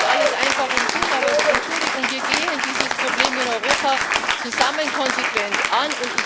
Das ist nicht alles einfach und gut, aber Entschuldigung wir gehen dieses Problem in Europa zusammen konsequent an.